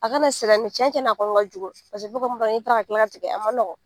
A kana cɛncɛn na a kɔni ka jugu kila ka tigɛ a ma nɔgɔn.